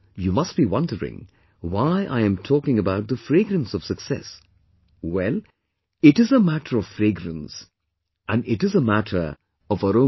You must be wondering why I am talking about the fragrance of success Well...it is a matter of fragrance and it is a matter of aroma